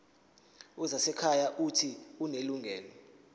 wezasekhaya uuthi unelungelo